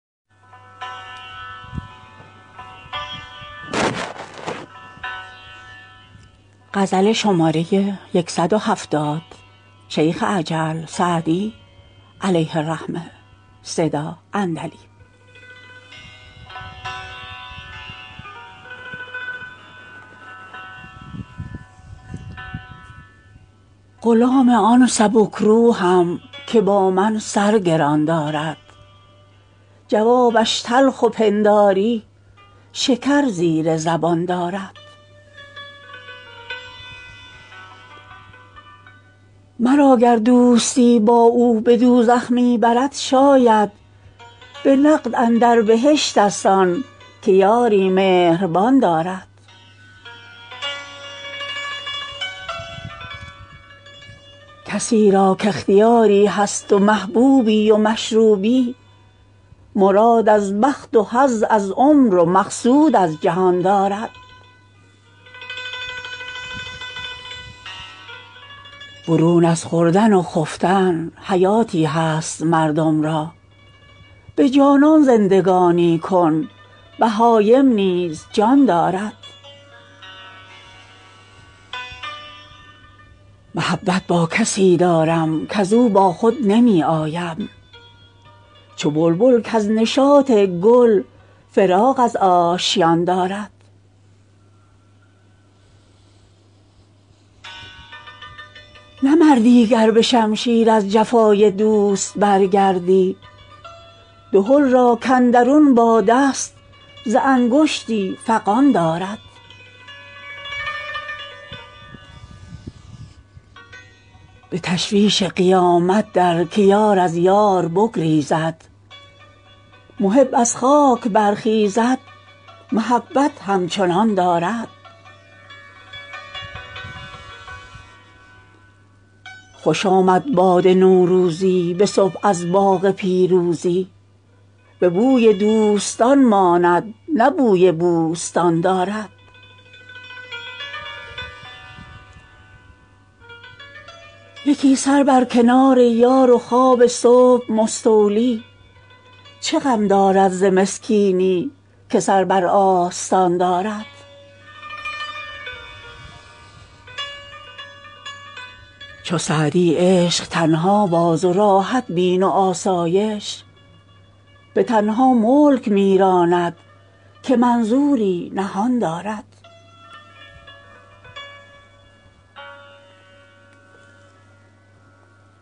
غلام آن سبک روحم که با من سر گران دارد جوابش تلخ و پنداری شکر زیر زبان دارد مرا گر دوستی با او به دوزخ می برد شاید به نقد اندر بهشت ست آن که یاری مهربان دارد کسی را کاختیاری هست و محبوبی و مشروبی مراد از بخت و حظ از عمر و مقصود از جهان دارد برون از خوردن و خفتن حیاتی هست مردم را به جانان زندگانی کن بهایم نیز جان دارد محبت با کسی دارم کز او با خود نمی آیم چو بلبل کز نشاط گل فراغ از آشیان دارد نه مردی گر به شمشیر از جفای دوست برگردی دهل را کاندرون باد است ز انگشتی فغان دارد به تشویش قیامت در که یار از یار بگریزد محب از خاک برخیزد محبت همچنان دارد خوش آمد باد نوروزی به صبح از باغ پیروزی به بوی دوستان ماند نه بوی بوستان دارد یکی سر بر کنار یار و خواب صبح مستولی چه غم دارد ز مسکینی که سر بر آستان دارد چو سعدی عشق تنها باز و راحت بین و آسایش به تنها ملک می راند که منظوری نهان دارد